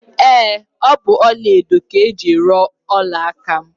Ee, ọ bụ ọla edo ka e jiri ruo ọla aka m